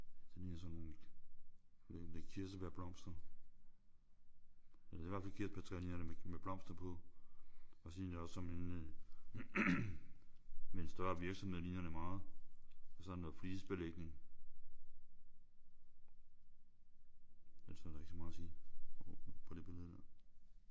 Den her er sådan nogle jeg ved ikke om det er kirsebærblomster eller det er i hvert fald kirsebærtræer ligner det med blomster på. Og så ligner det også som en større virksomhed ligner det meget og så er der noget flisebelægning. Ellers er der ikke så meget at sige om på det billede der